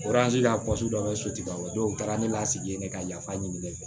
dɔ bɛ sotigi ba dɔw u taara ne la sigi ne ka yafa ɲini ne fɛ